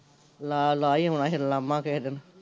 ਲਾ ਲਾਹ ਈ ਆਉਣਾ ਫਿਰ ਉਲਾਮਾਂ ਕਿਸੇ ਦਿਨ